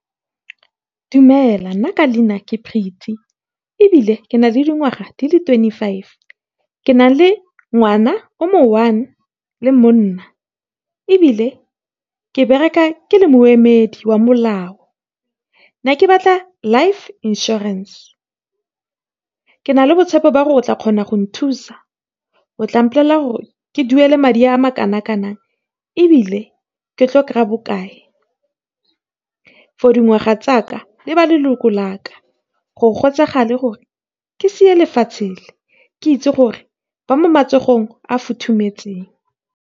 Dumela, nna ka leina ke Pretty, ebile ke na le dingwaga di le twenty-five. Ke na le ngwana a le mongwe le monna, ebile ke bereka ke le moemedi wa molao. Ke ne ke batla life insurance. Ke na le tshepo ya gore o tla kgona go nthusa. O tla mpolelela gore ke tla duela madi a kana kang, ebile ke tla kgona go kry-a bokae for dingwaga tsa me le ba leloko la ka. Ga go ka e tsagala gore ke lefatshe, ke bo ke itsi gore ba mo matsogong a futhumetseng.